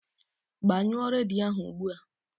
Gbanyụọ redio ahu ụgbụa!